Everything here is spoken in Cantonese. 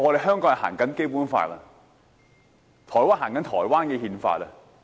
香港奉行《基本法》，而台灣奉行台灣的憲法。